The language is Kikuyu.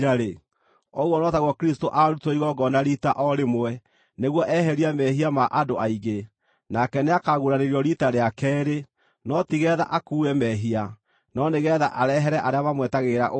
ũguo no taguo Kristũ aarutirwo igongona riita o rĩmwe nĩguo eherie mehia ma andũ aingĩ; nake nĩakaguũranĩrio riita rĩa keerĩ, no tigeetha akuue mehia, no nĩgeetha arehere arĩa mamwetagĩrĩra ũhonokio.